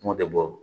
Kumaw bɛ bɔ